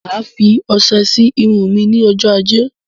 Máa fí ọsẹ sí Irun mí ní ọjọ ajé